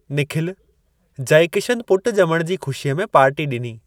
निखिल! जयकिशन पुट ज॒मण जी खुशीअ में पार्टी डि॒नी।